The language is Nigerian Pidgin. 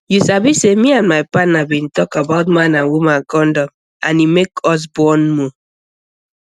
you sabi say me and my partner bin talk about man and woman condom and e make us bond more